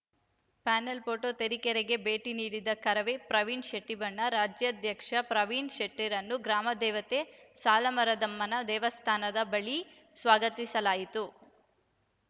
panel photo ತರೀಕೆರೆಗೆ ಭೇಟಿ ನೀಡಿದ ಕರವೇ ಪ್ರವೀಣ್‌ ಶೆಟ್ಟಿಬಣ ರಾಜ್ಯಾಧ್ಯಕ್ಷ ಪ್ರವೀಣ್‌ ಶೆಟ್ಟಿರನ್ನು ಗ್ರಾಮದೇವತೆ ಸಾಲುಮರದಮ್ಮನ ದೇವಸ್ಥಾನದ ಬಳಿ ಸ್ವಾಗತಿಸಲಾಯಿತು